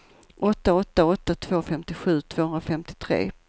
åtta åtta åtta två femtiosju tvåhundrafemtiotre